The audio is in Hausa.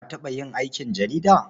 Ka taɓa yin aikin jarida?